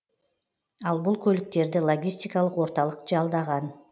ал бұл көліктерді логистикалық орталық жалдаған